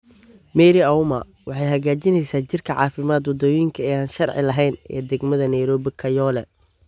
Mary Auma waxay hagaajineysaa jirka caafimaadka wadooyinka ee aan sharci lahayn ee degmada Nairobi Kayole.